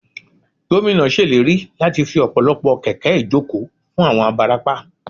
Gómìnà ṣèlérí láti fi ọ̀pọ̀lọpọ̀ kẹ̀kẹ́ ìjókòó fún àwọn abarapá